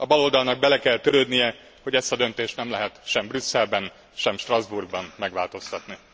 A baloldalnak bele kell törődnie, hogy ezt a döntést nem lehet sem Brüsszelben, sem Strasbourgban megváltoztatni.